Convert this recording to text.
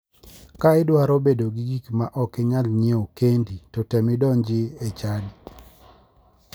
Ka idwaro bedo gi gik ma ok inyal nyiewo kendi to tem idonji e chadi.